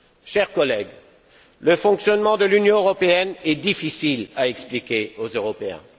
Chers collègues, le fonctionnement de l'Union européenne est difficile à expliquer aux Européens.